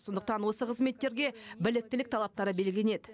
сондықтан осы қызметтерге біліктілік талаптары белгіленеді